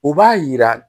O b'a yira